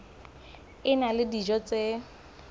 a na le dijo tse